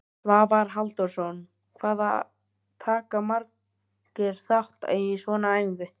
Svavar Halldórsson: Hvað taka margir þátt í svona æfingu?